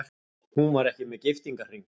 Hún var ekki með giftingarhring.